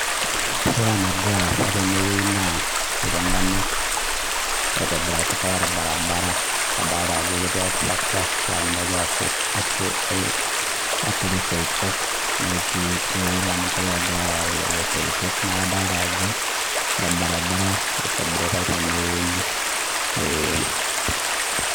Ore enagira aasa tene wueji naa iltung'ana itobirakitae olbaribara ataalda Ajo etii oltarakita naa ninye ogira osot aa aturuk isoitok netii olorin laa ninche ogira ayawu lelo isoito neeku adolta Ajo olbaribara itobiritae tenewuei ee.